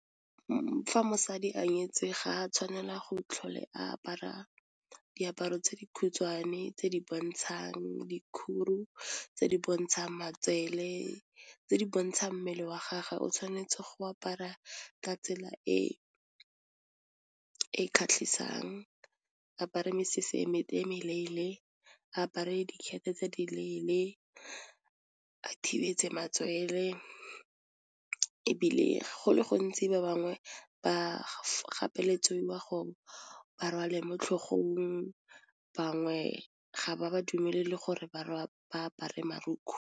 Fa mosadi a nyetswe ga a tshwanela go tlhole a apara diaparo tse di khutshwane tse di bontshang dikhudu, tse di bontshang matsele, tse di bontshang mmele wa gage, o tshwanetse go apara ka tsela e e kgatlhisang, apare mesese eme e meleele, apare dikgetho tse di leele, a thibetse matswele, ebile go le gontsi ba bangwe ba gapelediwa go ba rwalwe mo tlhogong, bangwe ga ba ba dumelele gore ba apare marukgwe.